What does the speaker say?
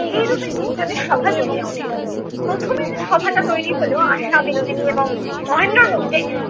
এই রূপে তিনজনের সভা জমিয়া উঠিলো। প্রথমে যে সভাটা তৈরি হলো, আশা বিনোদিনী এবং মহেন্দ্রর মধ্যে